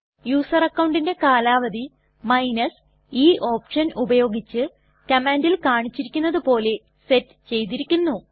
user അക്കൌണ്ടിന്റെ കാലാവധി e option ഉപയോഗിച്ച് കമാൻണ്ടിൽ കാണിച്ചിരിക്കുന്നത് പോലെ സെറ്റ് ചെയ്തിരിക്കുന്നു